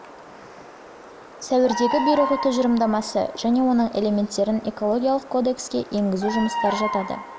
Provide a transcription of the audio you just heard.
суірдегі бұйрығы тұжырымдамасы және оның элементтерін экологиялық кодекске енгізу жұмыстары жатады